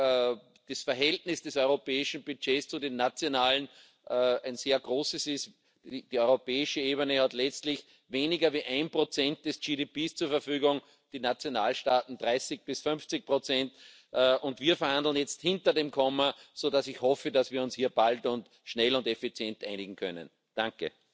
Le temps est venu d'identifier les biens communs européens, c'est à dire les prérogatives de souveraineté que les États ne peuvent plus exercer seuls du fait des défis que leur lance la mondialisation, qu'il s'agisse du climat, de la défense, des migrations, de l'espace, du terrorisme, du numérique et de l'intelligence artificielle. Puissions nous convaincre nos chefs d'État et de gouvernement